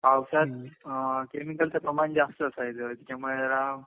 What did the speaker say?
पावसात केमिकल च प्रमाण जास्त असायचं त्याच्या मुळे जरा